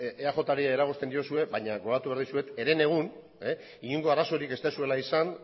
eajri eragozten diozue baina gogoratu behar dizuet herenegun inongo arazorik ez duzuela izan